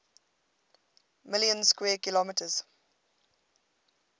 million square kilometers